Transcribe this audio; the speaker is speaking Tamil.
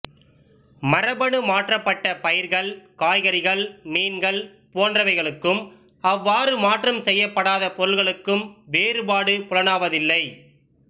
மரபணு மாற்றப்பட்ட பயிர்கள் காய்கறிகள் மீன்கள் போன்றவைகளுக்கும் அவ்வாறு மாற்றம் செய்யப்படாத பொருள்களுக்கும் வேறுபாடு புலனாவதில்லை